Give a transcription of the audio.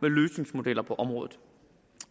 med løsningsmodeller på området